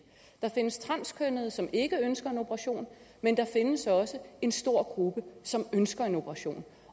der findes transkønnede som ikke ønsker en operation men der findes også en stor gruppe som ønsker en operation